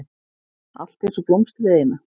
Allt einsog blómstrið eina.